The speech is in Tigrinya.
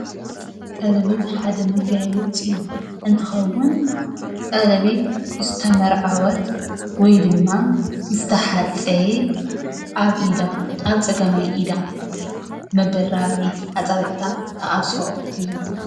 ቀሌቤት ሓደ መጋየፂ እንትከውን ቀሌበት ሓንቲ ዝተመረዐወት ወይ ድማ ምስተሓፀየት ኣብ ኢዳ ኣብ ፀጋማይ ኢዳ አፃብዕታ መበል ራብዐይቲ ኣፃብዕታ እትኣስሮ እዩ።